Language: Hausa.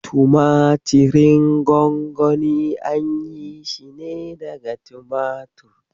Tumatirin gwangwani an yi shi ne daga tumatir.